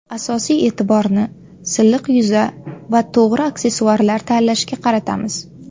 Asosiy e’tiborni silliq yuza va to‘g‘ri aksessuarlar tanlashga qaratamiz.